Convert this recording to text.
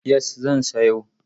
Yes, zan sayo.